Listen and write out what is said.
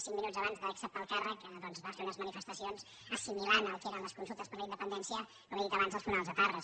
cinc minut abans d’acceptar el càrrec va fer unes manifestacions assimilant el que eren les consultes per la independència com he dit abans als funerals proetarres